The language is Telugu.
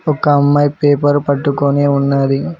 ఒక అమ్మాయి పేపర్ పట్టుకుని ఉన్నది.